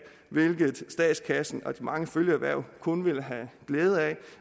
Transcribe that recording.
hvilket statskassen og de mange følgeerhverv kun ville have glæde af